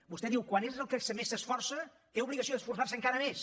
vostè diu quan és el que més s’esforça té obligació d’esforçar se encara més